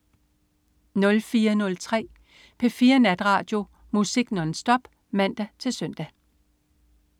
04.03 P4 Natradio. Musik nonstop (man-søn)